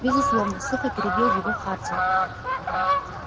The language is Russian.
безусловно сухо перебил его хардин